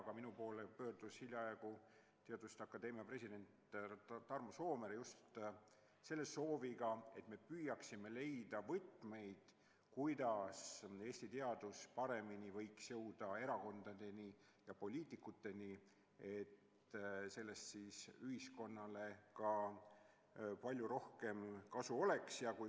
Aga minu poole pöördus hiljaaegu teaduste akadeemia president härra Tarmo Soomere just selle sooviga, et me püüaksime leida võtmeid, kuidas Eesti teadus võiks paremini jõuda erakondade ja poliitikuteni, et sellest ühiskonnale palju rohkem kasu oleks.